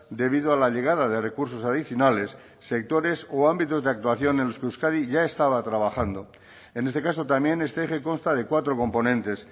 debido a la llegada de recursos adicionales sectores o ámbitos de actuación en los que euskadi ya estaba trabajando en este caso también este eje consta de cuatro componentes